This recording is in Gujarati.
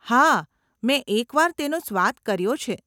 હા, મેં એક વાર તેનો સ્વાદ કર્યો છે.